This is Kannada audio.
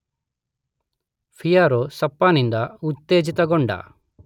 ಪಿಯರೋ ಸ್ರಫ್ಫಾ ನಿಂದ ಉತ್ತೇಜಿತಗೊಂಡು